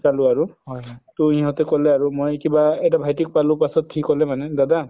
শিকালো আৰু ট সিহতে কলে আৰু মই কিবা এটা ভাইতিক পালো পাছত সি কলে মানে দাদা